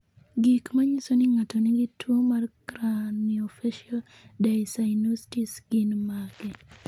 Gik manyiso ni ng'ato nigi tuwo mar Craniofacial dyssynostosis gin mage?